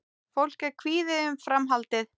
Fólk er kvíðið um framhaldið